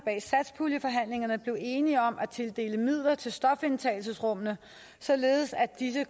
i enige om at tildele midler til stofindtagelsesrummene således at disse